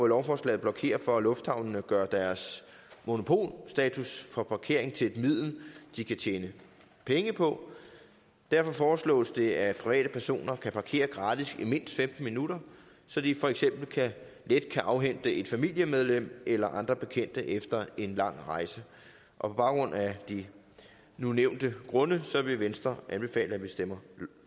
lovforslaget blokere for at lufthavnene gør deres monopolstatus for parkering til et middel de kan tjene penge på derfor foreslås det at private personer kan parkere gratis i mindst femten minutter så de for eksempel let kan afhente et familiemedlem eller andre bekendte efter en lang rejse på baggrund af de nu nævnte grunde vil venstre anbefale at vi stemmer